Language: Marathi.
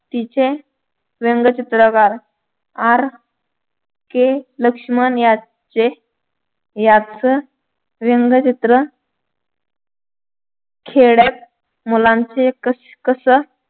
तिचे व्यंगचित्रकार R K लक्ष्मण याचे याच व्यंगचित्र खेड्यात मुलांचे कस कस